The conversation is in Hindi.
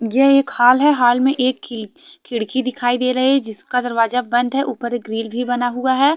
यह एक हाल है हाल में एक किल खिड़की दिखाई दे रहे हैं जिसका दरवाजा बंद है ऊपर एक ग्रिल भी बना हुआ है।